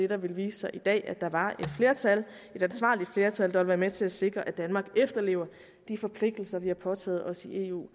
der ville vise sig i dag var at der var et flertal et ansvarligt flertal der ville være med til at sikre at danmark efterlever de forpligtelser vi har påtaget os i eu